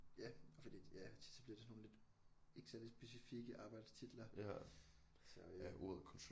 Ja fordi ja tit så bliver det sådan nogle lidt ikke særlig specifikke arbejdstitler så øh